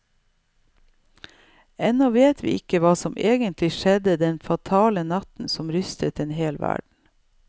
Ennå vet vi ikke hva som egentlig skjedde den fatale natten som rystet en hel verden.